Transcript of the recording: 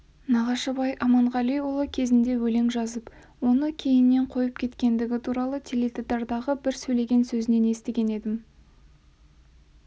нағашыбай аманғалиұлы кезінде өлең жазып оны кейіннен қойып кеткендігі туралы теледидардағы бір сөйлеген сөзінен естіген едім